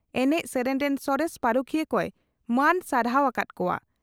ᱮᱱᱮᱡ ᱥᱮᱨᱮᱧ ᱨᱮᱱ ᱥᱚᱨᱮᱥ ᱯᱟᱹᱨᱩᱠᱷᱤᱭᱟᱹ ᱠᱚᱭ ᱢᱟᱹᱱ ᱥᱟᱨᱦᱟᱣ ᱟᱠᱟᱫ ᱠᱚᱣᱟ ᱾